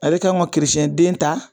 A bi ka an ka kerecɛnden ta